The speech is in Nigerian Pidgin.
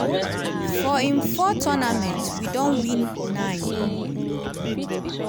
for im four tournaments we don win nine.